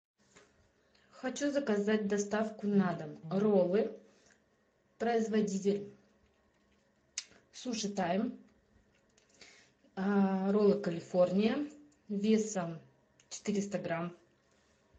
хочу заказать доставку на дом роллы производитель суши тайм роллы калифорния весом четыреста грамм